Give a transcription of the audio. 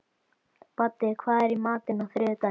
Baddi, hvað er í matinn á þriðjudaginn?